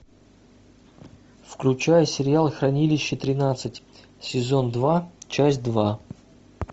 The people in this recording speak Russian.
включай сериал хранилище тринадцать сезон два часть два